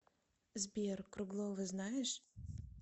сбер круглова знаешь